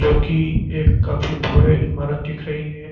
की एक काफी भव्य इमारत दिख रही है।